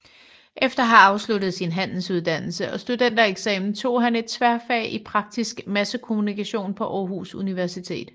Efter at have afsluttet sin handelsuddannelse og studentereksamen tog han et tværfag i praktisk massekommunikation på Aarhus Universitet